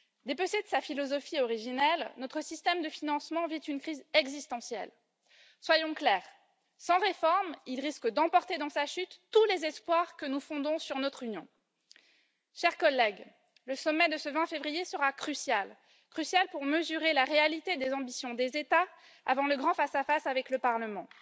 Dépecé de sa philosophie originelle, notre système de financement vit une crise existentielle. Soyons clairs sans réforme, il risque d'emporter dans sa chute tous les espoirs que nous fondons sur notre Union. Chers collègues, le sommet de ce 20 février sera crucial. Crucial pour mesurer la réalité des ambitions des États avant le grand face à face avec le Parlement.